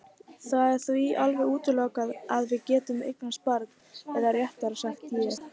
Það er því alveg útilokað að við getum eignast barn eða réttara sagt ég.